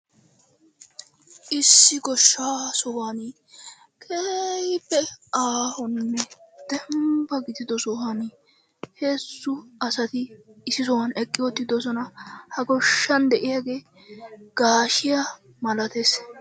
Issi goshsha sohuwaan keehippe aahonne dembba giddido sohuwaan heezzu asati issi sohuwan eqqi uttidosona. Ha goshshan de'iyagge gaashshiyaa malattes.